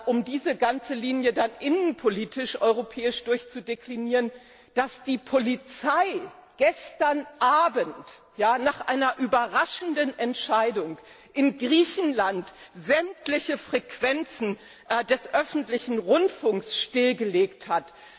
um diese ganze Linie dann innenpolitisch europäisch durchzudeklinieren dass die Polizei gestern Abend nach einer überraschenden Entscheidung in Griechenland sämtliche Frequenzen des öffentlichen Rundfunks stillgelegt hat?